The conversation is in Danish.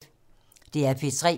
DR P3